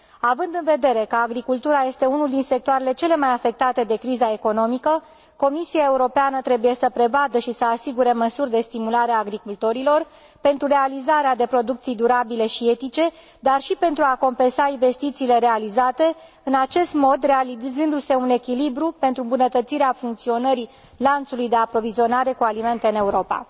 Având în vedere că agricultura este unul din sectoarele cele mai afectate de criza economică, Comisia Europeană trebuie să prevadă și să asigure măsuri de stimulare a agricultorilor pentru realizarea de producții durabile și etice, dar și pentru a compensa investițiile realizate, în acest mod realizându se un echilibru pentru îmbunătățirea funcționării lanțului de aprovizionare cu alimente în Europa.